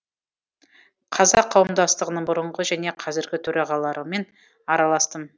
қазақ қауымдастығының бұрынғы және қазіргі төрағаларымен араластым